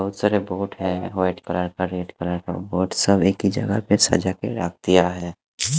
बहोत सारे white colour का रेड कलर का और सभी की जगह पे सजा के रख दिया है।